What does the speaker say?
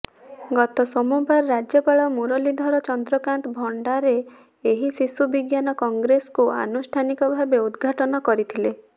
ଗତ ସୋମବାର ରାଜ୍ୟପାଳ ମୁରଲୀଧର ଚନ୍ଦ୍ରକାନ୍ତ ଭଣ୍ଡାରେ ଏହି ଶିଶୁ ବିଜ୍ଞାନ କଂଗ୍ରେସକୁ ଅନୁଷ୍ଠାନିକ ଭାବେ ଉଦଘାଟନ କରିଥିଲେ